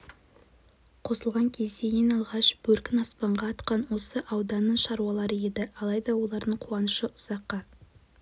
қосылған кезде ең алғаш бөркін аспанға атқан осы ауданның шаруалары еді алайда олардың қуанышы ұзаққа